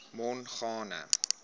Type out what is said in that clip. mongane